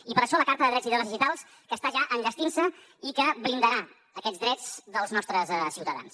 i per això la carta de drets i deures digitals que està ja enllestint se i que blindarà aquests drets dels nostres ciutadans